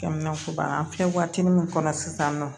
Kɛmɛ an filɛ waati min kɔnɔ sisan nɔ